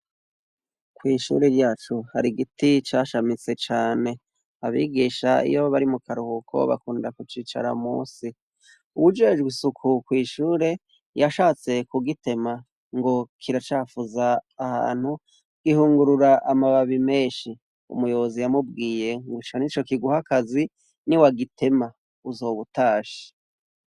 Kw'ishure ryacu hari igiti cashamitse cane. Abigisha iyo bari mu karuhuko, bakunda kucicara munsi. Uwujejwe isuku kw'ishure, yashatse kugitema ngo kiracafuza ahantu, gihungurura amababi menshi. Umuyobozi yamubwiye ngo ico nico kiguha akazi, niwagitema uzoba utashe.